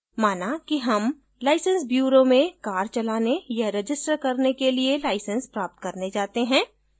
माना कि हम license bureau में car चलाने या register करने के लिए license प्राप्त करने जाते हैं